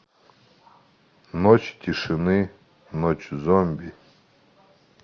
ночь тишины ночь зомби